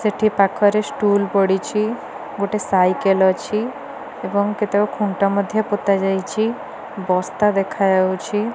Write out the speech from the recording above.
ସେଠି ପାଖରେ stool ପଡିଚି। ଗୋଟେ ସାଇକେଲ ଅଛି। ଏବଂ କେତେକ ଖୁଣ୍ଟ ମଧ୍ୟ ପୋତା ଯାଇଚି। ବସ୍ତା ଦେଖାଯାଉଚି।